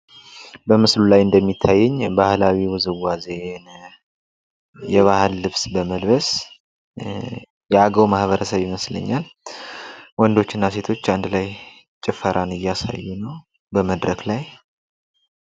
በምስሉ ላይ እንደሚታየኝ ባህላዊ ውዝዋዜን የባህል ልብስ በመልበስ የአገው ማህበረሰብ ይመስለኛል ወንዶችና ሴቶች አንድ ላይ ጭፈራን እያሳዩ ነው በመድረክ ላይ